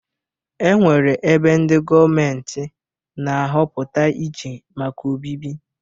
E nwere ebe ndị gọọment na-ahọpụta iche maka obibi.